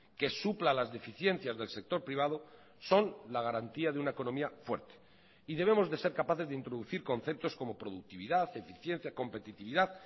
que supla las deficiencias del sector privado son la garantía de una economía fuerte y debemos de ser capaces de introducir conceptos como productividad eficiencia competitividad